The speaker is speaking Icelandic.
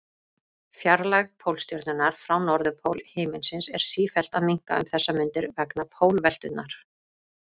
Fjarlægð Pólstjörnunnar frá norðurpól himins er sífellt að minnka um þessar mundir vegna pólveltunnar.